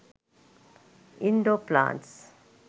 indoor plants